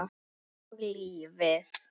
Og lífið.